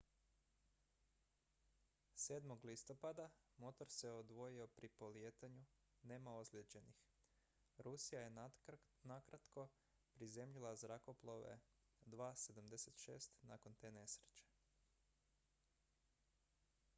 7. listopada motor se odvojio pri polijetanju nema ozlijeđenih rusija je nakratko prizemljila zrakoplove ii-76 nakon te nesreće